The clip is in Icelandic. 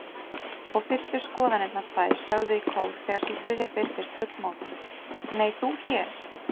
Og fyrstu skoðanirnar tvær sögðu í kór þegar sú þriðja birtist fullmótuð: Nei, þú hér?